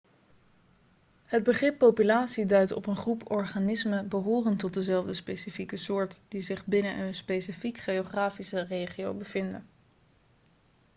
het begrip populatie duidt op een groep organismen behorend tot dezelfde specifieke soort die zich binnen een specifiek geografische regio bevinden